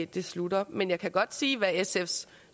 det slutter men jeg kan godt sige hvad sfs